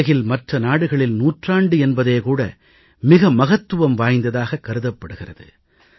உலகில் மற்ற நாடுகளில் நூற்றாண்டு என்பதே கூட மிக மகத்துவம் வாய்ந்ததாக கருதப் படுகிறது